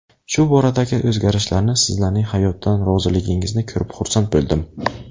Shu boradagi o‘zgarishlarni, sizlarning hayotdan roziligingizni ko‘rib xursand bo‘ldim.